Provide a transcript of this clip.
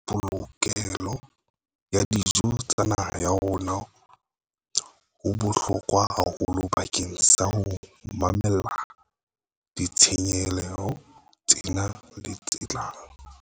Ho ntlafatsa polokehelo ya dijo tsa naha ya rona ho bohlokwa haholo bakeng sa ho mamella ditshenyehelo tsena le tse tlang.